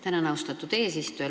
Tänan, austatud eesistuja!